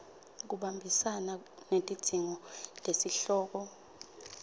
buhambisana netidzingo tesihloko